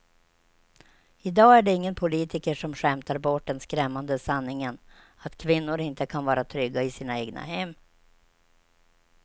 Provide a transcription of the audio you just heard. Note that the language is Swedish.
Idag är det ingen politiker som skämtar bort den skrämmande sanningen att kvinnor inte kan vara trygga i sina egna hem.